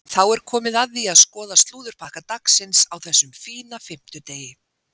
Þá er komið að því að skoða slúðurpakka dagsins á þessum fína fimmtudegi.